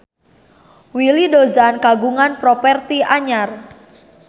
Willy Dozan kagungan properti anyar